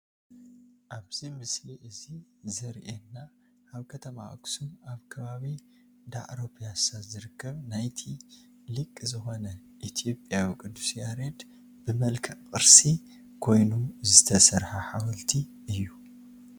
ኣብዚ ምስሊ እዚ ዘሪኤና ኣብ ከተማ ኣክሱም ኣብ ከባቢ ዳዕሮ ፒያሳ ዝርከብ ናይቲ ሊቅ ዝኾነ ኢትዮጵያዊ ቅዱስ ያሬድ ብመልክዕ ቅርሲ ኮይኑ ዝተሰርሐ ሓወልቲ እዩ፡፡